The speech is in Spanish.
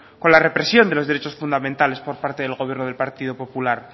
con la represión de los derechos fundamentales por parte del gobierno del partido popular